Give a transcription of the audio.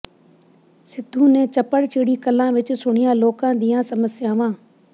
ਸਿੱਧੂ ਨੇ ਚੱਪੜਚਿੜੀ ਕਲਾਂ ਵਿੱਚ ਸੁਣੀਆਂ ਲੋਕਾਂ ਦੀਆਂ ਸਮੱਸਿਆਵਾਂ